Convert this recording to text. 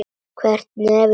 Hver hefði trúað þessu!